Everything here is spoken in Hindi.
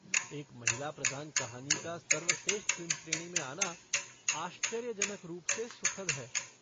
एक महिला प्रधान कहानी का सर्वश्रेष्ठ फ़िल्म श्रेणी में आना आश्चर्यजनक रूप से सुखद है।